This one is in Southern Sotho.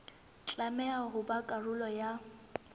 tlameha ho ba karolo ya